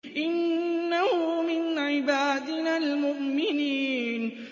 إِنَّهُ مِنْ عِبَادِنَا الْمُؤْمِنِينَ